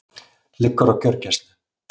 Liggur á gjörgæslu